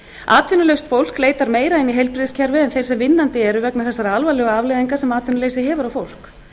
atvinnulaust fólki leitar meira inn í heilbrigðiskerfið en þeir sem vinnandi eru vegna þessara alvarlegu afleiðinga sem atvinnuleysi hefur á fólk